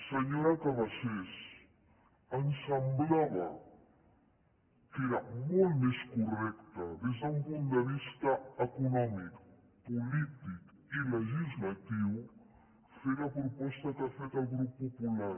senyora cabasés ens semblava que era molt més correcte des d’un punt de vista econòmic polític i legislatiu fer la proposta que ha fet el grup popular